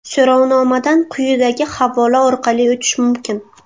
So‘rovnomadan quyidagi havola orqali o‘tish mumkin.